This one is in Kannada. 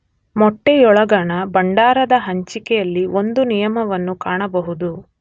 ಮೊಟ್ಟೆಯೊಳಗಣ ಭಂಡಾರದ ಹಂಚಿಕೆಯಲ್ಲಿ ಒಂದು ನಿಯಮವನ್ನು ಕಾಣಬಹುದು.